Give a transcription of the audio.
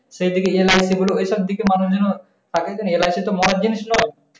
সে দিকে দেনা হয়েছে। এসব দিকে মানুশ যেন থাকে যেন LIC তো খারপ জিনিশ নয়।